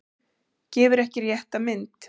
Gefur ekki rétta mynd